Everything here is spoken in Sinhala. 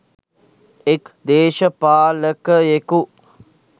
එක් දේශපාලකයෙකු